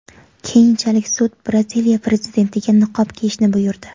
Keyinchalik sud Braziliya prezidentiga niqob kiyishni buyurdi.